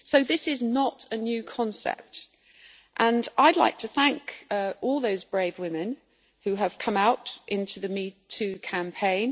So this is not a new concept, and I'd like to thank all those brave women who have come out in the Me Too' campaign.